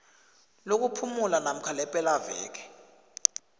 lokuphumula namkha lepelaveke